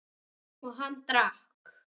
Og hann drakk.